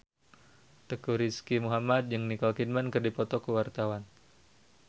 Teuku Rizky Muhammad jeung Nicole Kidman keur dipoto ku wartawan